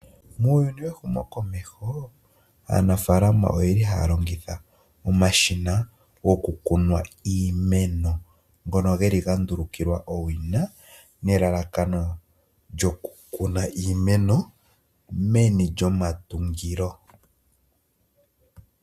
Muuyuni wehumokomeho, aanafaalama ohaya longitha omashina gokukuna iimeno ngono gandulukilwa po owina nelalakano lyokukuna iimeno meni lyo matungo .